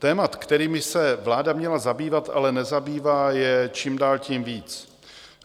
Témat, kterými se vláda měla zabývat, ale nezabývá, je čím dál tím víc.